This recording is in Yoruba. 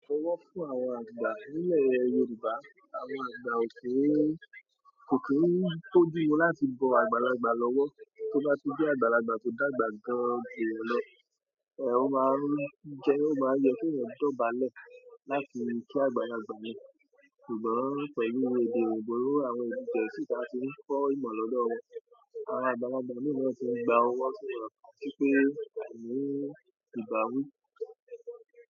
Ọwọ́ fún àwọn àgbà nílẹ̀ Yorùbá, àwọn àgbà ò kí ń, kò kí ń bójumu láti bọ àgbàlagbà lọ́wọ́. Tó bá tun je àgbàlagbà kò dàgbà gan-an ju eeyan lọ. Ọ̀ máa ń jẹ, o máa ń yẹ kí eeyan dóbálẹ̀ láti kí àgbàlagbà yen. Ṣùgbọ́n pẹ̀lú edé oyinbo àwọn èdè geẹ̀sì ta tí ń kọ́ ìmọ̀ lọ́dọ̀ wọn, àwọn àgbàlagbà mì náà tì ń gba owó so that ko ni si pé a ni ìbáwi.